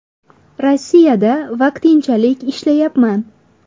Rossiyada vaqtinchalik ishlayapman.